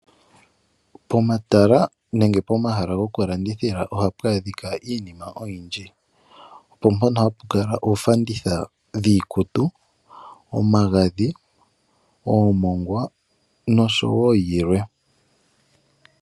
Pomatala nenge pomahala gokulandithila ohapu adhika iinima oyindji, opompoka hapu kala oofanditha dhiikutu, omagadhi, oomongwa nosho wo yilwe.